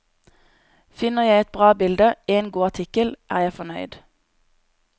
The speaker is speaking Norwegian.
Finner jeg ett bra bilde, én god artikkel, er jeg fornøyd.